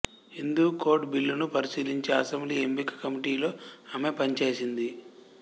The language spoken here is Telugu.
హిందూ కోడ్ బిల్లును పరిశీలించే అసెంబ్లీ ఎంపిక కమిటీలో ఆమె పనిచేసింది